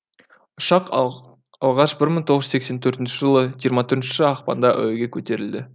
ұшақ алғаш бір мың тоғыз жүз сексен төртінші жылы жиырма төртінші ақпанда әуеге көтерілді